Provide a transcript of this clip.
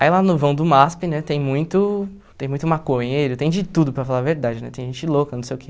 Aí lá no vão do MASP, né, tem muito tem muito maconheiro, tem de tudo para falar a verdade, né, tem gente louca, não sei o quê.